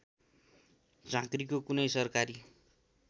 झाँक्रीको कुनै सरकारी